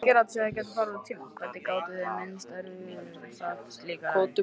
Hvernig gátu þeir minnst á erindi sitt eftir slíka ræðu?